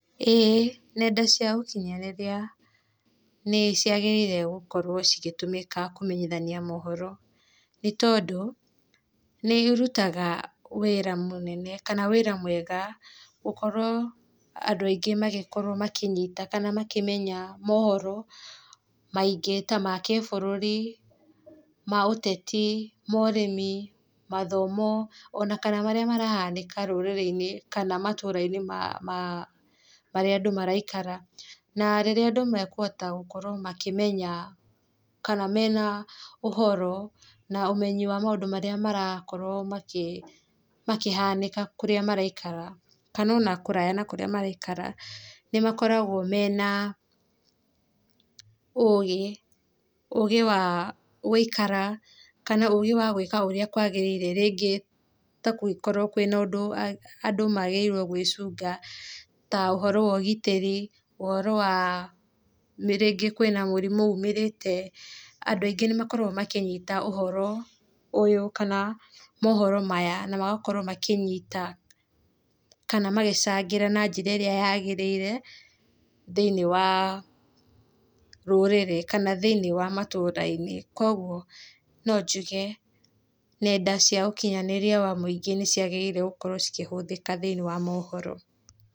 Ĩĩ nenda cia ũkinyanĩria nĩ ciagĩrĩire gũkorwo cigĩtũmĩka kũmenyithania mohoro nĩ tondũ, nĩ irutaga wĩra mũnene kana wĩra mwega gũkorwo andũ aingĩ gũkorwo makĩnyuta kana gũkorwo makĩmenya mohoro maingĩ ta makĩbũrũri, ma ũteti, ma ũrĩmi, ma gĩthomo, ona kana marĩa marahanĩka rũrĩrĩ-inĩ kana matũũra-inĩ ma marĩa andũ maraikara. Na rĩrĩa andũ makũhota gũkorwo makĩmenya kana mena ũhoro na ũmenyi wa maũndũ marĩa marakorwo makĩhanĩka kũrĩa maraikara kana ona kũraya na kũrĩa maraikara nĩ makoragwo mena ũgĩ, ũgĩ wa gũikara, kana ũgĩ wa gũikara ũrĩa kwagĩrĩire, rĩngĩ kũngĩkorwo kwĩna ũndũ andũ magĩrĩirwo gwĩchũnga, ta ũhoro wa ũgitĩri, ũhoro wa rĩngĩ kwĩna mũrimũ umĩrĩte andũ aingĩ nĩ makoragwo makĩnyita ũhoro ũyũ, kana mohoro maya na magakorwo makĩnyita kana magĩchangĩra na njĩra ĩrĩa yagĩrĩire thĩinĩ wa rũrĩrĩ kana thĩinĩ wa matũũra-inĩ, kwoguo no ngĩhe nenda cia ũkinyanĩria wa mũingĩ nĩ ciagĩrĩirwo gũkorwo cikĩhũthĩka thĩinĩ wa mohoro.